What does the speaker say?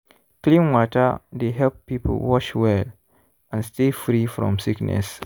clean water dey help people wash well and stay free from sickness.